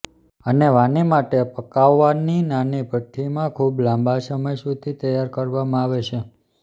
અને વાની માટે પકાવવાની નાની ભઠ્ઠી માં ખૂબ લાંબા સમય સુધી તૈયાર કરવામાં આવે છે